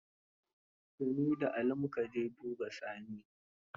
Da ni da Ali mu ka je duba Sani.